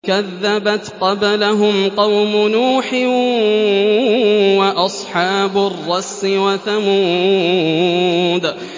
كَذَّبَتْ قَبْلَهُمْ قَوْمُ نُوحٍ وَأَصْحَابُ الرَّسِّ وَثَمُودُ